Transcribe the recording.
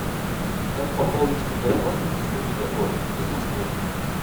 как пополнить мегафон республика коми из москвы